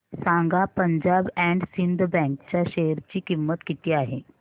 सांगा Punjab and Sind bank च्या share ची किंमत किती आहे